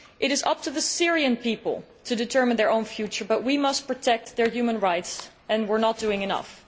It is up to the Syrian people to determine their own future, but we must protect their human rights and we are not doing enough.